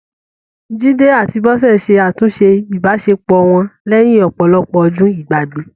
Jide àti Bose ṣe àtúnṣe ìbáṣepọ̀ wọn lẹ́yìn ọ̀pọ̀lọpọ̀ ọdún ìgbàgbé